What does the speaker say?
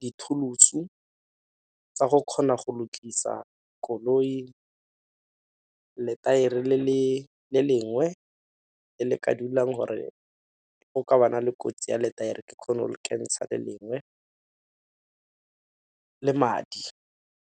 di-tools-u tsa go kgona go lokisa koloi lethaere le lengwe e le ka dulang gore go ka ba na le kotsi ya lethaere ke kgone go le kentsha le lengwe le madi.